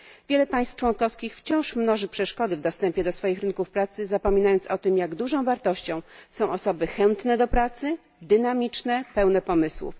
Wiele państw członkowskich wciąż mnoży przeszkody w dostępie do swoich rynków pracy zapominając o tym, jak dużą wartością są osoby chętne do pracy, dynamiczne, pełne pomysłów.